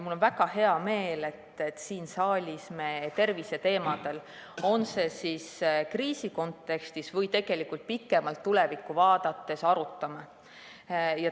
Mul on väga hea meel, et me siin saalis arutame terviseteemadel, on see siis kriisi kontekstis või tegelikult pikemalt tulevikku vaadates.